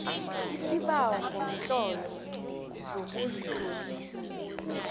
isibawo ngomtlolo sokuzitlolisa